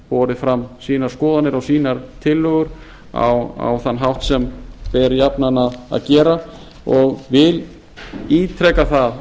borið fram sínar skoðanir og sínar tillögur á þann hátt sem ber jafnan að gera og vil ítreka það